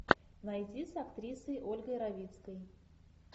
найти с актрисой ольгой равицкой